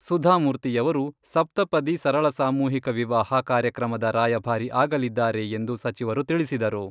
ಸುಧಾಮೂರ್ತಿಯವರು ಸಪ್ತಪದಿ ಸರಳ ಸಾಮೂಹಿಕ ವಿವಾಹ ಕಾರ್ಯಕ್ರಮದ ರಾಯಭಾರಿ ಆಗಲಿದ್ದಾರೆ ಎಂದು ಸಚಿವರು ತಿಳಿಸಿದರು.